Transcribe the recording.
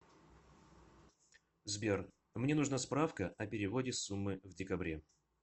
сбер мне нужна справка о переводе суммы в декабре